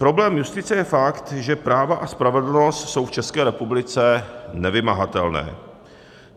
Problém justice je fakt, že práva a spravedlnost jsou v České republice nevymahatelné.